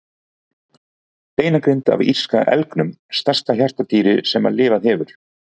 Beinagrind af írska elgnum, stærsta hjartardýri sem lifað hefur.